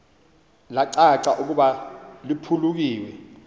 lacaca ukuba liphulukiwe